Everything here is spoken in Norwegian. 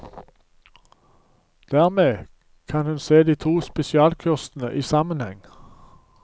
Dermed kan hun se de to spesialkursene i sammenheng.